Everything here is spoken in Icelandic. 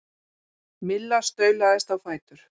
Milla staulaðist á fætur.